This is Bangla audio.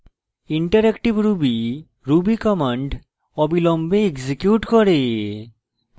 interactive ruby ruby commands অবিলম্বে এক্সিকিউট করে